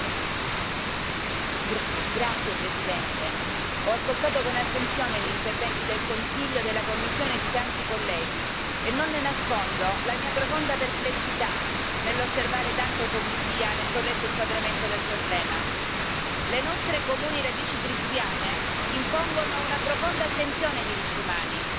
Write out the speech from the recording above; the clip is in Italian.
Signor Presidente, onorevoli colleghi, ho ascoltato con attenzione gli interventi del Consiglio e della Commissione e di tanti colleghi e non Le nascondo la mia profonda perplessità nell'osservare tanta ipocrisia nel corretto inquadramento del problema. Le nostre comuni radici cristiane impongono una profonda attenzione ai diritti umani,